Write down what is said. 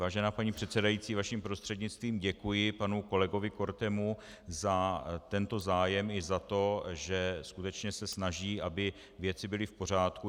Vážená paní předsedající, vaším prostřednictvím děkuji panu kolegu Kortemu za tento zájem i za to, že skutečně se snaží, aby věci byly v pořádku.